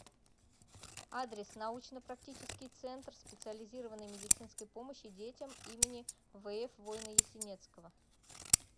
адрес научно практический центр специализированной медицинской помощи детям им вф войно ясенецкого